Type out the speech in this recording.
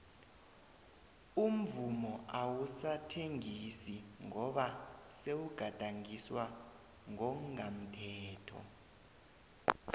umvumo awusathengisi ngoba sewugadangiswa ngongamthetho